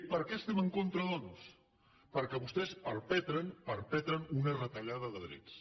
per què hi estem en contra doncs perquè vostès perpetren perpetren una retallada de drets